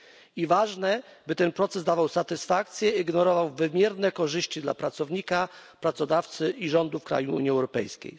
I ważne, by ten proces dawał satysfakcję i generował wymierne korzyści dla pracownika, pracodawcy i rządów krajów Unii Europejskiej.